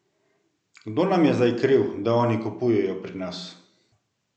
Kdo nam je zdaj kriv, da oni kupujejo pri nas?